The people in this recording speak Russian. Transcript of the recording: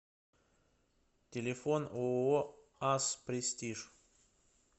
телефон ооо ас престиж